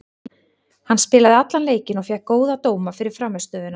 Hann spilaði allan leikinn og fékk góða dóma fyrir frammistöðuna.